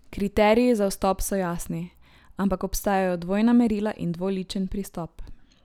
Kriteriji za vstop so jasni, ampak obstajajo dvojna merila in dvoličen pristop.